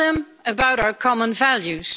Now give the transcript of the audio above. Tell them about our common values.